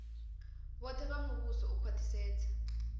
vhoṱhe vha muvhuso u khwaṱhisedza